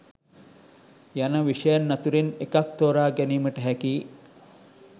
යන විෂයන් අතුරින් එකක් තෝරා ගැනීමට හැකියි